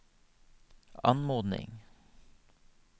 anmodning